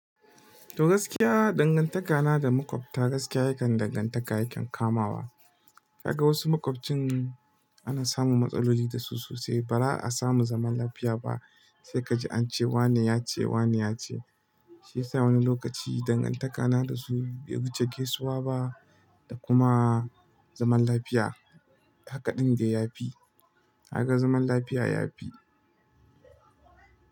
To gaskiya dangantaka na da maƙwabta gaskiya yakan dangantaka yakan kamawa. Ka ga wasu makwabcin ana samun matsaloli da su sosai ba'ra a samu zaman lafiya ba sai ka ji an ce wane ya ce, wane ya ce. Shi yasa wani lokaci dangantaka na da su bai wuce gaisuwa ba da kuma zaman lafiya haka ɗin dai ya fi. Haka zaman lafiya ya fi.